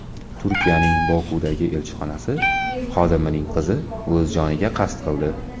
Turkiyaning Bokudagi elchixonasi xodimining qizi o‘z joniga qasd qildi.